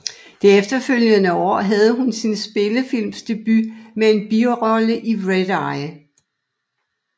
Det følgende år havde hun sin spillefilmsdebut med en birolle i Red Eye